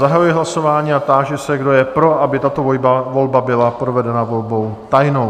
Zahajuji hlasování a táži se, kdo je pro, aby tato volba byla provedena volbou tajnou?